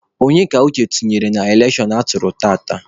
Onye ka Uche tụnyere n'elekshon atụrụ tata?